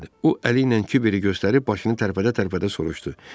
O əli ilə Kiberi göstərib başını tərpədə-tərpədə soruşdu.